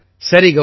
ஆமாம் சார்